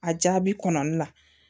A jaabi kɔnɔli la